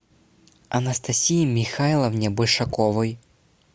анастасии михайловне большаковой